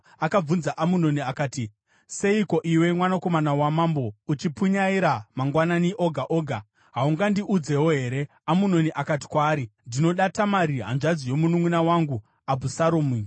Akabvunza Amunoni akati, “Seiko, iwe mwanakomana wamambo, uchipunyaira mangwanani oga oga? Haungandiudzewo here?” Amunoni akati kwaari, “Ndinoda Tamari, hanzvadzi yomununʼuna wangu Abhusaromu.”